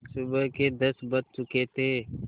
सुबह के दस बज चुके थे